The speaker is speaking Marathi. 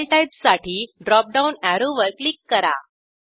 फाइल टाइप साठी ड्रॉप डाऊन अॅरोवर क्लिक करा